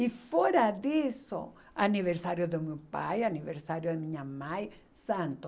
E fora disso, aniversário do meu pai, aniversário da minha mãe, santo.